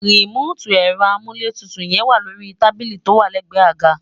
rìmóòtì ẹ̀rọ amúlétutù yẹn wà lórí tábílì tó wà lẹ́gbẹ̀ẹ́ àga